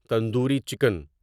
tandoori chicken